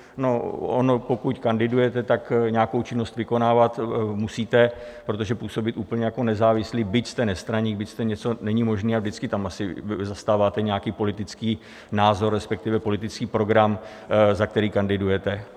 No, ono pokud kandidujete, tak nějakou činnost vykonávat musíte, protože působit úplně jako nezávislý, byť jste nestraník, byť jste něco, není možné a vždycky tam asi zastáváte nějaký politický názor, respektive politický program, za který kandidujete.